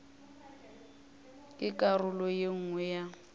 ke karolo ye nngwe ya